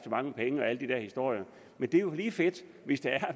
mange penge og alle de der historier men det er jo lige fedt hvis det er at